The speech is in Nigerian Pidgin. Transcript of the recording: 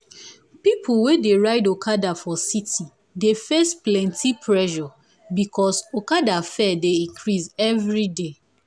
people wey dey ride okada for city dey face plenty pressure because okada fare dey increase every day.